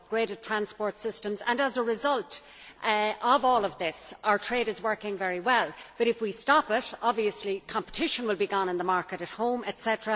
We have upgraded transport systems and, as a result of all of this, our trade is working very well, but, if we stop it, obviously competition will be gone in the market at home, etc.